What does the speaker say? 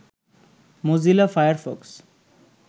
Mozilla Firefox